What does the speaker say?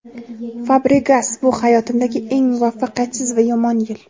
Fabregas: Bu hayotimdagi eng muvaffaqiyatsiz va yomon yil.